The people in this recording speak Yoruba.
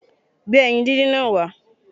Gbé ẹyin díndín náà wá